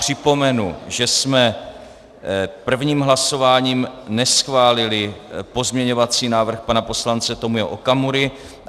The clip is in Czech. Připomenu, že jsme prvním hlasováním neschválili pozměňovací návrh pana poslance Tomio Okamury.